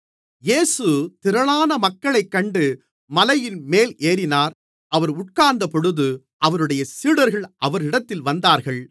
இயேசு திரளான மக்களைக் கண்டு மலையின்மேல் ஏறினார் அவர் உட்கார்ந்தபொழுது அவருடைய சீடர்கள் அவரிடத்தில் வந்தார்கள்